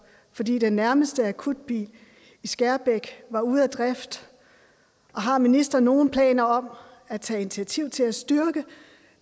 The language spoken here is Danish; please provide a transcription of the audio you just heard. fordi den nærmeste akutbil i skærbæk var ude af drift og har ministeren nogen planer om at tage initiativer til at styrke